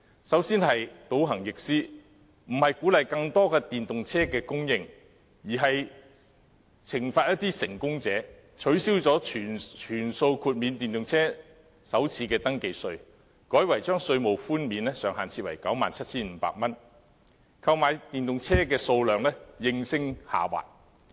首先是倒行逆施，並非鼓勵更多電動車供應，而是懲罰一些成功者，取消全數豁免電動車的首次登記稅，改為將稅務寬免的上限設為 97,500 元，購買電動車的數量應聲下滑。